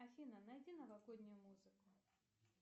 афина найди новогоднюю музыку